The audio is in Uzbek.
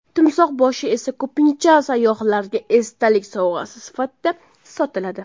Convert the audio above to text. Timsoh boshi esa ko‘pincha sayyohlarga esdalik sovg‘asi sifatida sotiladi.